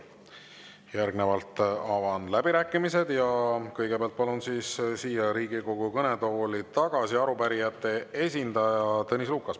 Järgnevalt avan läbirääkimised ja kõigepealt palun siia Riigikogu kõnetooli tagasi arupärijate esindaja Tõnis Lukase.